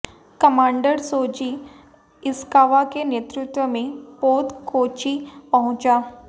commander Soji Ishikawa के नेतृत्व में पोत कोच्चि पहुंचा